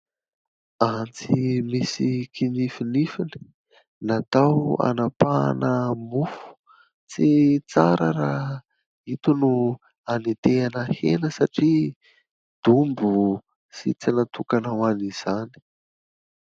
Antsy misy kinifinifiny natao hanapahana mofo. Tsy tsara raha ito no anetehana hena satria dombo sy tsy natokana ho an'izany.